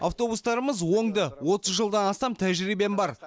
автобустарымыз оңды отыз жылдан астам тәжірибем бар